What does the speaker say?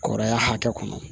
Kɔrɔya hakɛ kɔnɔ